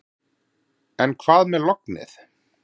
En hvað með lognið.